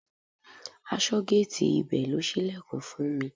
Aṣọ́géètì ibẹ̀ ló ṣílẹ̀kùn fún mi.